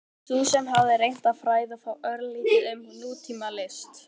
Sú sem hafði reynt að fræða þá örlítið um nútímalist?